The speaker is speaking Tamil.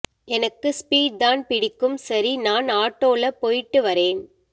எனக்கு ஸ்பீட் தான் பிடிக்கும் சரி நான் ஆட்டோ ல போயிட்டுவரேன்